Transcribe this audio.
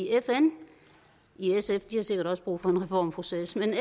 fn sf har sikkert også brug for en reformproces men